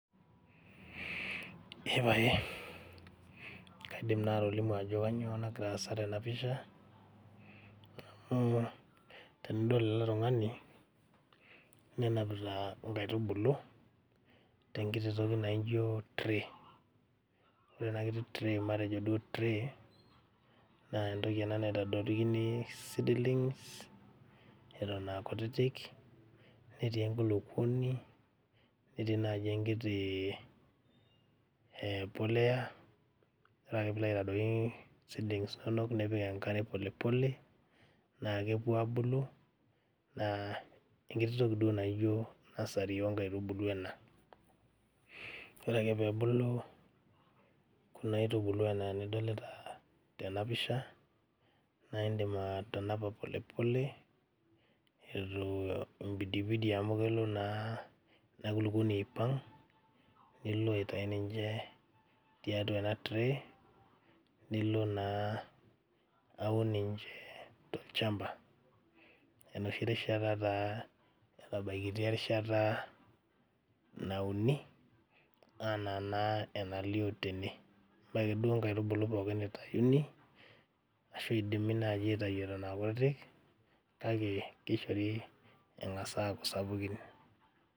Eepae kaidim naa atolimu ajo kanyio nagira aasa tena pisha amu tenidol ele tung'ani nenapita inkaitubulu tenkiti toki naijio tray ore ena kiti tray matejo duo tray nentoki ena naitadoikini seedlings eton akutitik netii enkulupuoni netii naaji enkiti e poleya ore ake piilo aitadoiki seedlings inonok nipik enkare polepole naa kepuo abulu naa enkiti toki duo naijio nursery onkaitubulu ena ore ake peebulu kuna aitubulu anaa enidolita tena pisha naindim atanapa polepole etu impidipidie amu kelo naa ina kulukuoni aipang nilo aitai ninje tiatua ena tray nilo naa aun ninche tolchamba enoshi rishata taa etabaikitia erishata nauni anaa naa enalio tene mee akeduo inkaitubulu pookin itayuni ashu eidimi naaji aitayuo nena kutitik kake keishori eng'as aaku sapukin.